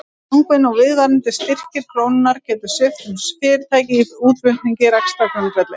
Langvinn og viðvarandi styrking krónunnar getur svipt sum fyrirtæki í útflutningi rekstrargrundvelli.